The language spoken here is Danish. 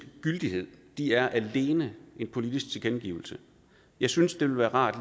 gyldighed de er alene en politisk tilkendegivelse jeg synes det ville være rart